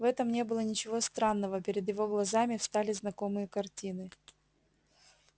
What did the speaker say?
в этом не было ничего странного перед его глазами встали знакомые картины